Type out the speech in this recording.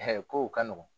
kow ka nɔgɔn